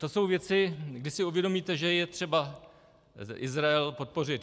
To jsou věci, kdy si uvědomíte, že je třeba Izrael podpořit.